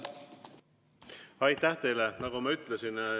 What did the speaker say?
Aitäh teile!